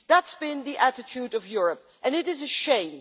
That has been the attitude of Europe, and it is a shame.